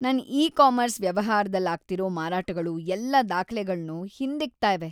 ನನ್ ಇ-ಕಾಮರ್ಸ್ ವ್ಯವಹಾರದಲ್ಲಾಗ್ತಿರೋ ಮಾರಾಟಗಳು ಎಲ್ಲ ದಾಖ್ಲೆಗಳ್ನೂ ಹಿಂದಿಕ್ತಾ ಇವೆ.